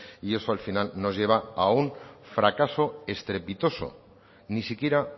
y eso al final nos lleva a un fracaso estrepitoso ni siquiera